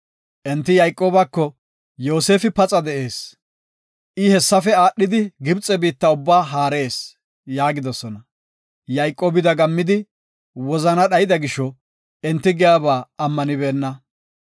Enti Yayqoobako, “Yoosefi paxa de7ees. I hessafe aadhidi Gibxe biitta ubbaa haarees” yaagidosona. Yayqoobi dagammidi, wozana dhayda gisho, enti giyaba ammanibena.